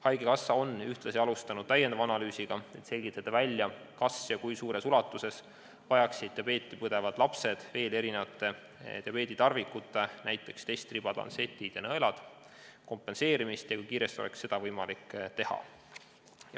Haigekassa on ühtlasi alustanud täiendavat analüüsi, et selgitada välja, kas ja kui suures ulatuses vajaksid diabeeti põdevad lapsed muude diabeeditarvikute, näiteks testribade, lantsettide ja nõelte kompenseerimist ning kui kiiresti oleks seda võimalik teha.